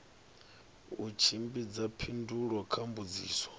u tshimbidza phindulo kha mbudziso